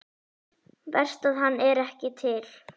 Verst að hann er ekki til.